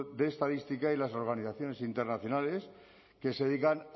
de estadística y las organizaciones internacionales que se dedican